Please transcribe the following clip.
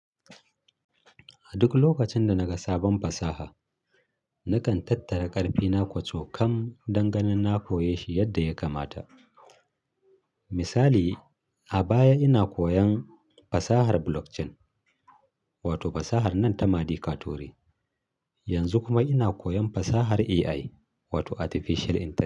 A duk lokacin da na ga sabon fasaha, nakan tattara ƙarfina kwaco-kam dan ganin na koyeshi yadda ya kamata. Misali, a baya ina koyan fasahar blockchain wato fasahar nan ta madi katori. Yanzu kuma ina koyon fasahar AI, wato Artificial Intelligence.